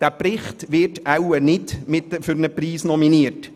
Dieser Bericht wird wohl nicht für einen Preis nominiert.